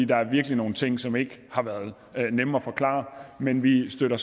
der er virkelig nogle ting som ikke har været nemme at forklare men vi støtter